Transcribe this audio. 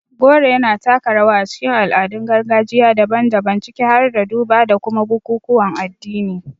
Goro yana taka rawa a cikin al'adun gargajiya daban-daban, ciki har da duba da kuma bukukuwan addini.